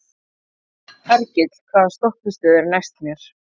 Hergill, hvaða stoppistöð er næst mér?